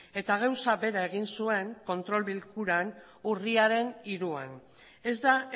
eta gauza bera egin zuen kontrol bilkuran urriaren hiruan ez da